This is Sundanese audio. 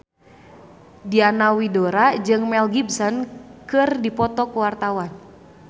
Diana Widoera jeung Mel Gibson keur dipoto ku wartawan